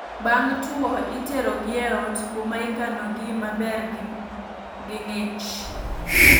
Bang' two itero gi e ot, kuma ikano gi maber gi ng'ich